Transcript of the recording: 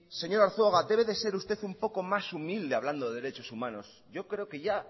señor arzuaga debe de ser usted un poco más humilde hablando de derechos humanos yo creo que ya